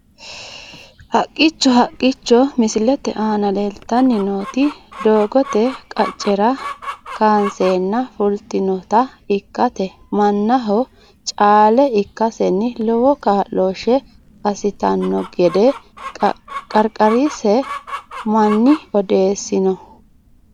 Haqqicho haqichcho misilete aana leeltani nooti doogote qaccera kaanseena fultniota ikite manaho caale ikaseni lowo kaaloshe asitino gede qarqarise mani odeesino.